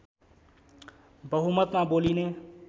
बहुमतमा बोलिने